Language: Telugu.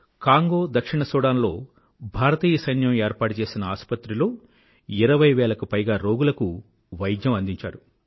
కాంగో దక్షిణ సుడాన్ లో భారతీయ సైన్యం ఏర్పాటు చేసిన ఆసుపత్రిలో ఇరవై వేలకు పైగా రోగుల కు వైద్యం అందించారు